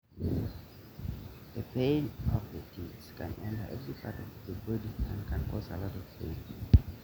ore emion oo lala na kejing pookin shot osesen na keeyau emion oleng